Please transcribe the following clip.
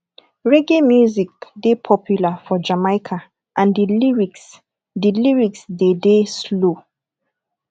reggae music dey popular for jamaica and di lyrics de lyrics de dey slow